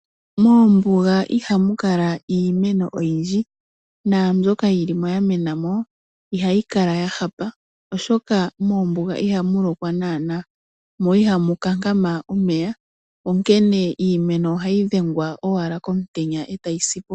Moombuga ihamu kala iimeno oyindji naambyoka yilimo ya menamo ihayi kala ya hapa oshoka moombuga ihamu lokwa nuupu mo ihamu kankama omeya, onkene iimeno ohayi dhengwa owala komutenya etayi sipo.